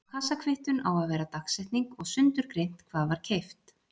Á kassakvittun á að vera dagsetning og sundurgreint hvað var keypt.